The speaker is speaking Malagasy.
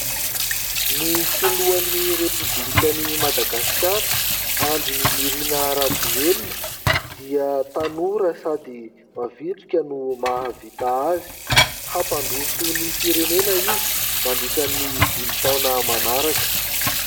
Ny filohan'ny repoblikan'i Madagasikara, Andry Nirina Rajoelina dia tanora sady mavitrika no mahavita azy, hampandroso ny firenena izy mandritra ny dimy taona manaraka.